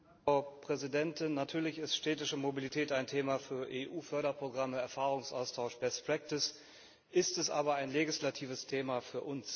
Frau Präsidentin! Natürlich ist städtische Mobilität ein Thema für EU Förderprogramme, Erfahrungsaustausch, ist es aber ein legislatives Thema für uns?